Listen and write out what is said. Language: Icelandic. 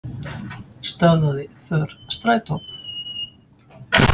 Stöðvaði för strætó